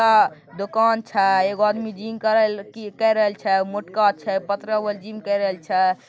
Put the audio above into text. आ दुकान छै एगो आदमी जिम करल की करल छै मोटका छै पतरा वाला जिम करल छै।